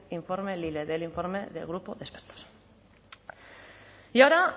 informe lile del informe del grupo de expertos y ahora